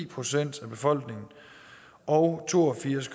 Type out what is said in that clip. procent af befolkningen og to og firs